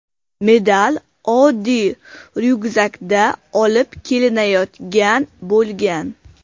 Medal oddiy ryukzakda olib kelinayotgan bo‘lgan.